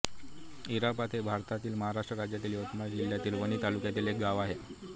झारपात हे भारतातील महाराष्ट्र राज्यातील यवतमाळ जिल्ह्यातील वणी तालुक्यातील एक गाव आहे